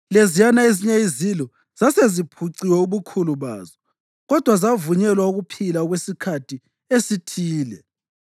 (Leziyana ezinye izilo zase ziphuciwe ubukhulu bazo kodwa zavunyelwa ukuphila okwesikhathi esithile.)